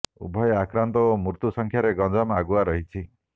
ଉଭୟ ଆକ୍ରାନ୍ତ ଓ ମୃତ୍ୟୁ ସଂଖ୍ୟାରେ ଗଞ୍ଜାମ ଆଗୁଆ ରହିଛି